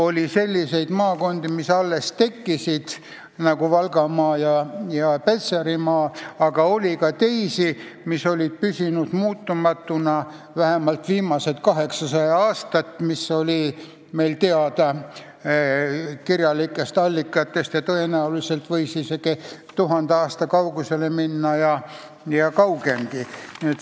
Oli selliseid maakondi, mis olid alles loodud, nagu Valgamaa ja Petserimaa, aga oli ka teisi, mis olid püsinud muutumatuna vähemalt viimased 800 aastat, nagu on teada kirjalikest allikatest, aga tõenäoliselt võivad ulatuda isegi tuhande aasta kaugusele ja kaugemalegi.